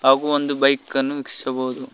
ಹಾಗು ಒಂದು ಬೈಕ್ ಅನ್ನು ವೀಕ್ಷಿಸಬಹುದು.